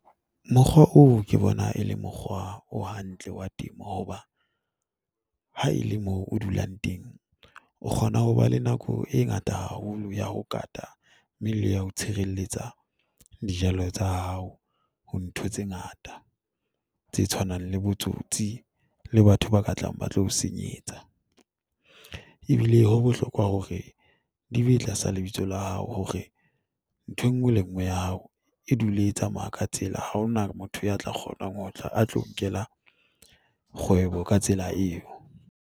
Mokgwa oo ke bona e leng mokgwa o hantle wa temo, hoba haele moo o dulang teng o kgona ho ba le nako e ngata haholo ya ho kata, mme le ya ho tshireletsa dijalo tsa hao ho ntho tse ngata tse tshwanang le botsotsi le batho ba ka tlang ba tlo o senyetsa, ebile ho bohlokwa hore di be tlasa lebitso la hao hore nthwe e nngwe le nngwe ya hao e dule e tsamaya ka tsela. Ha hona motho ya tla kgonang ho tla a tlo nkela kgwebo ka tsela eo.